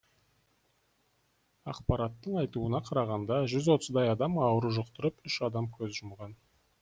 ақпараттың айтуына қарағанда жүз отыздай адам ауру жұқтырып үш адам көз жұмған